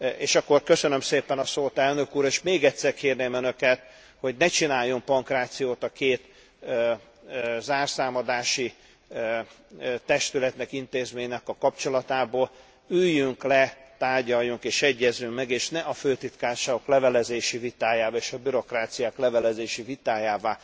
És akkor köszönöm szépen a szót elnök úr, és még egyszer kérném önöket, hogy ne csináljunk pankrációt a két zárszámadási testületnek, intézménynek a kapcsolatából. Üljünk le, tárgyaljunk és egyezzünk meg, és ne a főtitkárságok levelezési vitájává és a bürokráciák levelezési vitájává